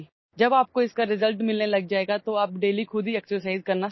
যেতিয়া আপুনি ফলাফল পাবলৈ আৰম্ভ কৰিব তেতিয়া আপুনি নিজেই প্ৰতিদিনে ব্যায়াম কৰিবলৈ আৰম্ভ কৰিব